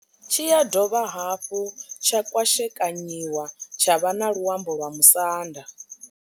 Tshi ya dovha hafhu tsha kwashekanyiwa tsha vha na luambo lwa Musanda.